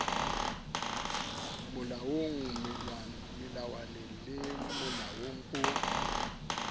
molaong melawaneng le molaong o